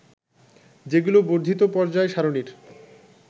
যেগুলো বর্ধিত পর্যায় সারণীর